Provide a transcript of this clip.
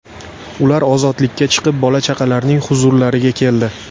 Ular ozodlikka chiqib, bola-chaqalarining huzurlariga keldi.